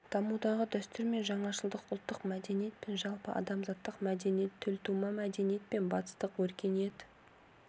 дамудағы дәстүр мен жаңашылдық ұлттық мәдениет пен жалпы адамзаттық мәдениет төлтума мәдениет пен батыстық өркениет